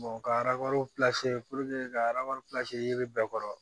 ka ka ye bɛɛ kɔrɔ